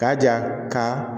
K'a jira ka